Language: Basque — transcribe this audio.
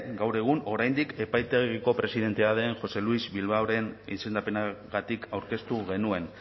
gaur egun oraindik epaitegiko presidentea den jose luis bilbaoren izendapenagatik aurkeztu genuen